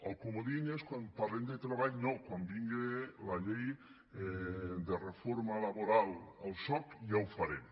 el comodí és quan parlem de treball no quan vingui la llei de reforma laboral el soc ja ho farem